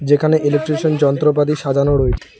যেখানে ইলেকট্রিশিয়ান যন্ত্রপাতি সাজানো রয়েছে।